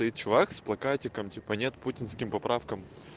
чувак с плакатиком нет путинским поправкам